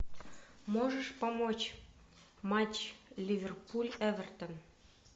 можешь помочь матч ливерпуль эвертон